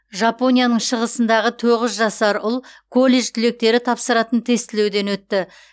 жапонияның шығысындағы тоғыз жасар ұл колледж түлектері тапсыратын тестілеуден өтті